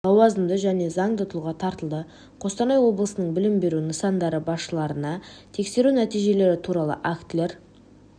лауазымды және заңды тұлға тартылды қостанай облысының білім беру нысандары басшыларына тексеру нәтижелері туралы актілер